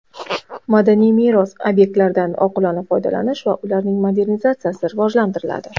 Madaniy meros obyektlaridan oqilona foydalanish va ularning monetizatsiyasi rivojlantiriladi.